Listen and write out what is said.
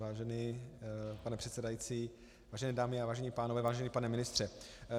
Vážený pane předsedající, vážené dámy a vážení pánové, vážený pane ministře.